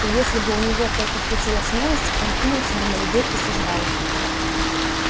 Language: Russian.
и если бы у него только хватило смелости он кинулся бы на людей и сожрал их